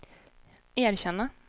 erkänna